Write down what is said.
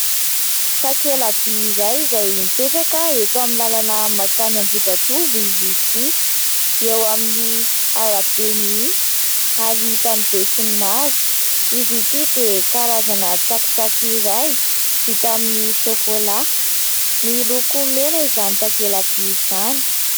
Takela-by iray izay mipetraka eto amin'ny lalana makany Ambohijatovo izy ity, eo amin'ny arabe mihitsy ary hitan'ny besinimaro, izy ity dia karazana tsakitsaky iray vita amin'ny sokolà, miloko mena izany takela-by izany.